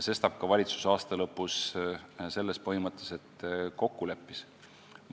Sestap ka valitsus aasta lõpus selles põhimõtteliselt kokku leppis.